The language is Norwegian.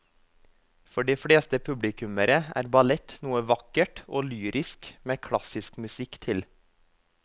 For de fleste publikummere er ballett noe vakkert og lyrisk med klassisk musikk til.